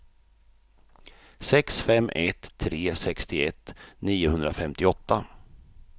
sex fem ett tre sextioett niohundrafemtioåtta